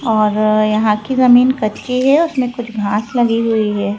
और यहां की जमीन कच्ची है उसमें कुछ घास लगी हुई है।